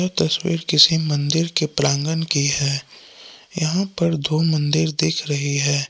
ये तस्वीर किसी मंदिर के प्रांगण की है यहां पर दो मंदिर दिख रही है।